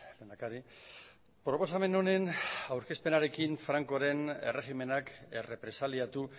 lehendakari proposamen honen aurkezpenarekin francoren erregimenak errepresaliatu